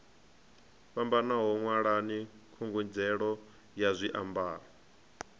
fhambanaho ṅwalani khungedzelo ya zwiambaro